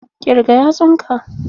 Ƙirga yatsun ka!